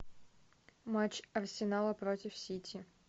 матч арсенала против сити